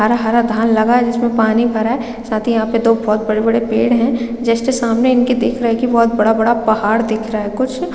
हरा - हरा धान लगा है जिसमें पानी भरा है साथ ही यहाँ पे दो बहोत बड़े - बड़े पेड़ है जस्ट सामने इनके दिख रहे है की बहोत बड़ा - बड़ा पहाड़ दिख रहा है कुछ --